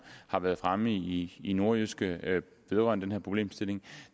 har været fremme i i nordjyske vedrørende problemstilling